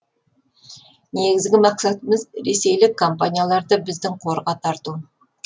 негізгі мақсатымыз ресейлік компанияларды біздің қорға тарту